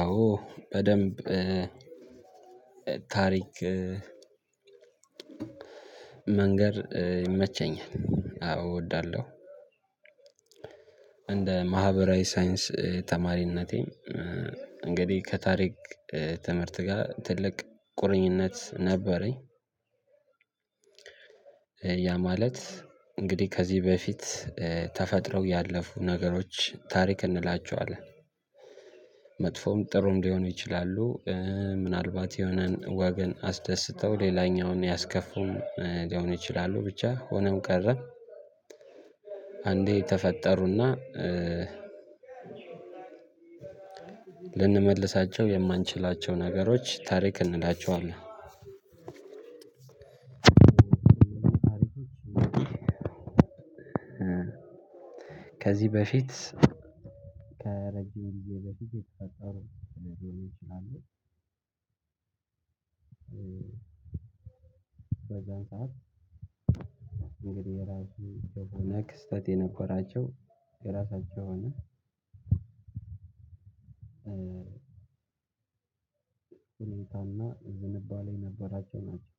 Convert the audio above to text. አዎ በደንብ ታሪክ መንገር ይመቸኛል አዎ እወዳለሁ። እንደ ማህበራዊ ሳይንስ ተማሪነቴም እንግዲህ ከታሪክ ትምህርት ጋር ትልቅ ቁርኝነት ነበረኝ። ያ ማለት እንግዲህ ከዚህ በፊት ተፈጥረው ያለፉ ነገሮች ታሪክ እንላቸዋለን። መጥፎም ጥሩም ሊሆኑ ይችላሉ። ምናልባት የሆነን ወገን አስደስተው ሌላኛውን ያስከፉም ሊሆን ይችላሉ ብቻ ሆኖም ቀረም። አንዴ የተፈጠሩና ልንመልሳቸው የማንችላቸው ነገሮች ታሪክ እንላቸዋለን። ከዚህ በፊት ከረጅም ጊዜ በፊት የተፈጠሩ ሊሆኑ ይችላሉ። በዛን ሰዓት እንግዲህ የራሱን የሆነ ክስተት የነበራቸው የራሳቸው የሆነ ሁኔታና ዝንባሌ የነበራቸው ናቸው።